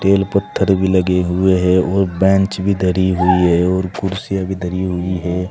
बेलपत्थर भी लगे हुए हैं और बेंच भी धरी हुई है और कुर्सियां भी धरी हुई है।